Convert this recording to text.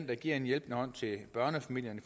der giver en hjælpende hånd til børnefamilierne